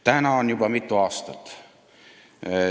"Täna on juba mitu aastat ..."